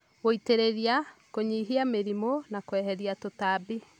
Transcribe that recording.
gũitĩrĩria, kũnyihia mĩrimũ, na kũeheria tũtambi.